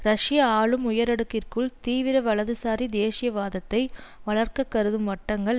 ரஷ்ய ஆளும் உயரடுக்கிற்குள் தீவிர வலதுசாரி தேசியவாதத்தை வளர்க்க கருதும் வட்டங்கள்